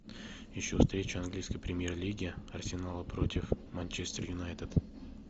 ищу встречу английской премьер лиги арсенала против манчестер юнайтед